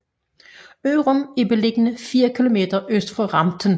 Ørum er beliggende fire kilometer øst for Ramten